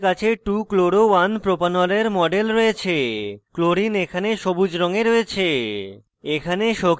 এখন আমাদের কাছে 2chloro1propanol we model রয়েছে chlorine chlorine এখানে সবুজ রঙে রয়েছে